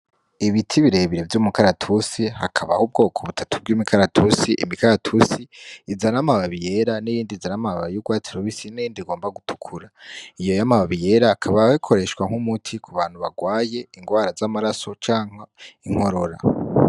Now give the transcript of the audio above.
Ibiti birebire vy'umukaratusi hakabaho ubwoko butatu bw'imikaratusi, Imikaratusi izana amababi yera n'iyindi izana amababi y'urwatsi rubisi n'iyindi igomba gutukura, iyo y'amababi yera akaba akoreshwa nk'umuti ku bantu barwaye ingwara z'amaraso canke inkorora.